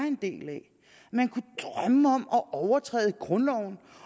en del af at man kunne drømme om at overtræde grundloven